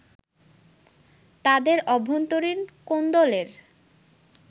তাদের অভ্যন্তরীণ কোন্দলের